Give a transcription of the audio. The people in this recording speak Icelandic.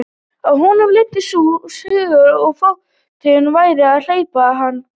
Að honum læddist sú hugsun að flóttinn væri að gleypa hann.